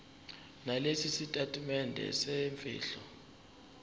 nalesi sitatimende semfihlo